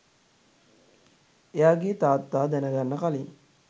එයාගේ තාත්තා දැනගන්න කලින්